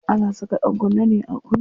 Ana saka ɗankunne ne a kunne.